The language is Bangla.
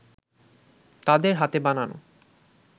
তাদের হাতে বানানো